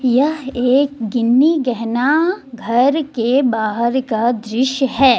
यह एक गिन्नी गहना घर के बाहर का दृश्य है।